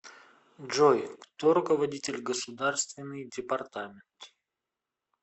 джой кто руководитель государственный департамент